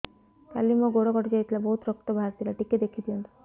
କାଲି ମୋ ଗୋଡ଼ କଟି ଯାଇଥିଲା ବହୁତ ରକ୍ତ ବାହାରି ଥିଲା ଟିକେ ଦେଖି ଦିଅନ୍ତୁ